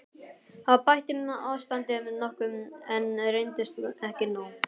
Það bætti ástandið nokkuð, en reyndist ekki nóg.